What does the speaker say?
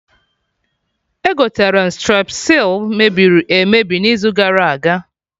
Egoterem strepsils mebiri emebi n'izu gara aga